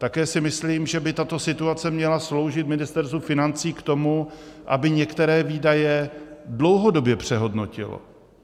Také si myslím, že by tato situace měla sloužit Ministerstvu financí k tomu, aby některé výdaje dlouhodobě přehodnotilo.